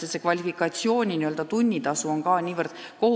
Kvalifikatsioonile vastav tunnitasu on kohutavalt väike.